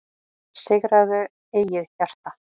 Sigraðu eigið hjarta,